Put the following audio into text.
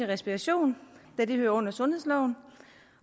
respiration da det hører under sundhedsloven